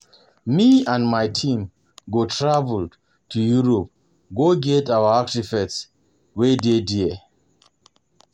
um Me and my team go travel to Europe um go get our artefacts wey dey um there